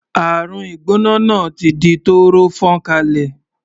Àrùn ìgbóná náà ti di tọ́rọ́ fọ́nkálé.